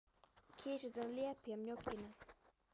Kisurnar lepja mjólkina.